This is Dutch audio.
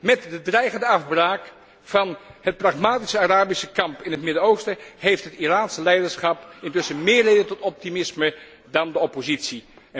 Met de dreigende afbraak van het pragmatische Arabische kamp in het Midden Oosten, geeft het Iranese leiderschap intussen meer reden tot optimisme dan de oppositie.